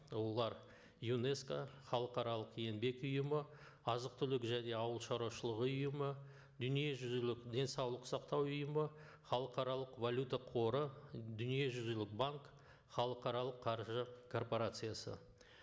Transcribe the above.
олар юнеско халықаралық еңбек ұйымы азық түлік және ауыл шаруашылық ұйымы дүниежүзілік денсаулық сақтау ұйымы халықаралық валюта қоры дүниежүзілік банк халықаралық қаржы корпорациясы